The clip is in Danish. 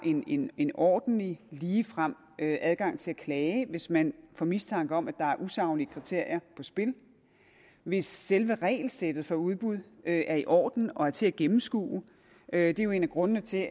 en en ordentlig ligefrem adgang til at klage hvis man får mistanke om at der er usaglige kriterier på spil og hvis selve regelsættet for udbud er i orden og til at gennemskue det er jo en af grundene til